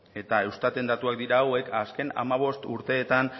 eustaten datuak dira hauek azken hamabost urteetan